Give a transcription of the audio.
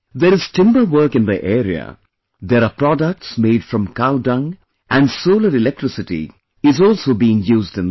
There is timber work in their area, there are products made from cow dung and solar electricity is also being used in them